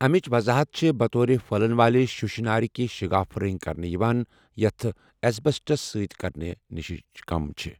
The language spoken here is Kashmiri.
امِچِ وضاحت چھے٘ بطور پھہلن والہِ شیشہٕ نارِ كہِ شِگافہٕ رنگہِ كرنہٕ یوان یتھ ایسبسٹس سۭتۍ كرنہٕ نِشہِ كم چُھ ۔